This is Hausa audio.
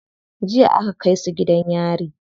Jiya aka kai su gidan yari.